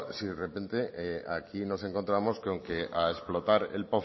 si de repente aquí nos encontramos con que a explotar